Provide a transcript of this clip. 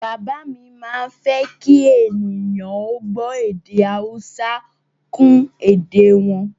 Bàbá mi má ń fẹ́ kí ènìyàn ó gbọ́ èdè Haúsá kún èdè e wọn